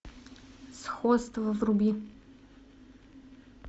сходство вруби